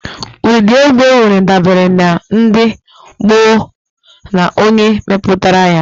Ụdịdị egwu enwere dabere na ndi, ọgbọó, na onye meputara ya.